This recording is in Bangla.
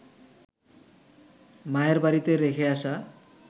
মায়ের বাড়িতে রেখে আসা